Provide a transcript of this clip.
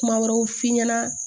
Kuma wɛrɛw f'i ɲɛna